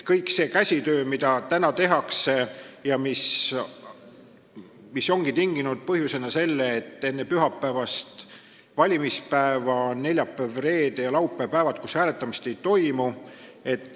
Kõik see käsitsitöö, mida praegu tehakse, ongi tinginud selle, et enne pühapäevast valimispäeva neljapäeval, reedel ja laupäeval hääletamist ei toimu.